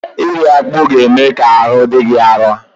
Iri akpụ ga-eme ka ahụ dị gị arụ.